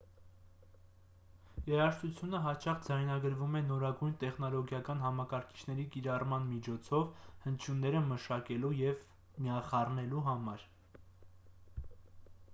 երաժշտությունը հաճախ ձայնագրվում է նորագույն տեխնոլոգիական համակարգիչների կիրառման միջոցով հնչյունները մշակելու և միախառնելու համար